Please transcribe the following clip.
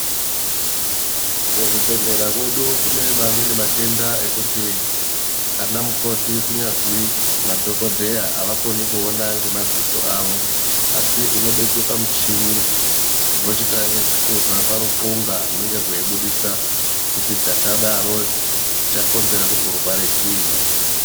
Muzvibhedhleya mwedu kune mamweni matenda ekuti anamukoti kunyazwi madhokodheya avakoni kuona ngemadziso avo asi unobekwe pamuchini vochitanga kuhloza paruqonga runenge rweibudisa kuti chakadaro chakonzera kuti urware chiinyi.